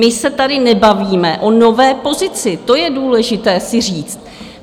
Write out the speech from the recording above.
My se tady nebavíme o nové pozici, to je důležité si říct.